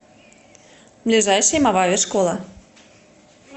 ближайший мовави школа